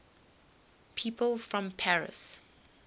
people from paris